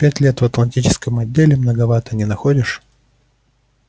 пять лет в атлантическом отделе многовато не находишь